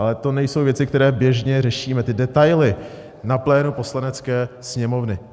Ale to nejsou věci, které běžně řešíme, ty detaily na plénu Poslanecké sněmovny.